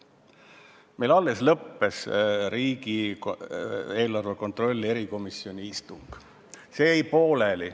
Meil alles lõppes riigieelarve kontrolli erikomisjoni istung, see jäi pooleli.